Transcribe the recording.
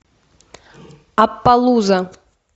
аппалуза